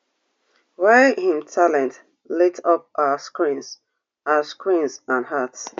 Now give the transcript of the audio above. wey im talent lit up our screens our screens and hearts